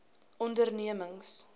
ondernemings